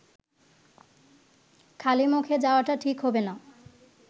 খালিমুখে যাওয়াটা ঠিক হবে না